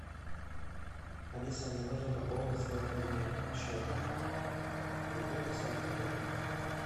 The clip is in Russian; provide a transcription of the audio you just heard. алиса мне нужно пополнить свой мобильный счет закинь пятьдесят рублей